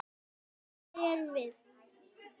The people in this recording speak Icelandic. Hver erum við?